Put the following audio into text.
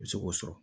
I bɛ se k'o sɔrɔ